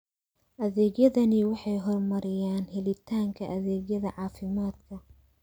Adeegyadani waxay horumariyaan helitaanka adeegyada caafimaadka.